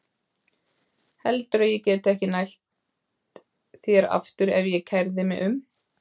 Heldurðu að ég gæti ekki nælt þér aftur ef ég kærði mig um?